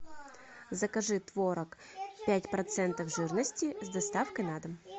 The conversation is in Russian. закажи творог пять процентов жирности с доставкой на дом